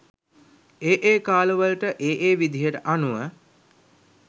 ඒ ඒ කාලවලට ඒ ඒ විදිහට අනුව